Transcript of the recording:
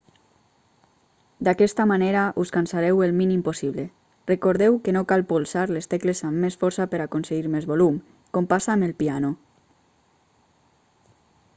d'aquesta manera us cansareu el mínim possible recordeu que no cal polsar les tecles amb més força per aconseguir més volum com passa amb el piano